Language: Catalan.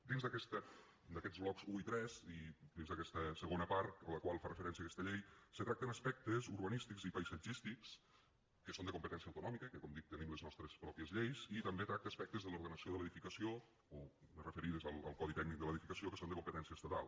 dins d’aquests blocs un i tres i dins d’aquesta segona part a la qual fa referència aquesta llei se tracten aspectes urbanístics i paisatgístics que són de competència autonòmica i que com dic tenim les nostres pròpies lleis i també tracta aspectes de l’ordenació de l’edificació o més referides al codi tècnic de l’edificació que són de competència estatal